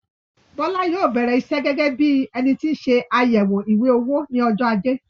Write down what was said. Bọ́lá yóò bẹrẹ iṣẹ gẹgẹ bíi énití nse àyẹwò ìwé-owó ní ọjọ ajé